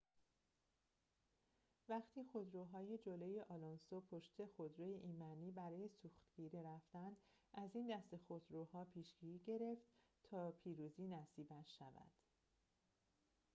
وقتی خودروهای جلوی آلونسو پشت خودروی ایمنی برای سوختگیری رفتند از این دسته خودروها پیشی گرفت تا پیروزی نصیبش شود